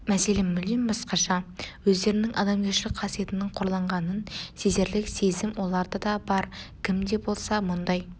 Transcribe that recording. мәселе мүлдем басқаша өздерінің адамгершілік қасиетінің қорланғанын сезерлік сезім оларда да бар кім де болса мұндай